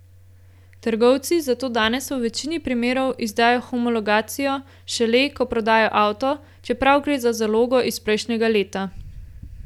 Trgovci zato danes v večini primerov izdajo homologacijo šele, ko prodajo avto, čeprav gre za zalogo iz prejšnjega leta.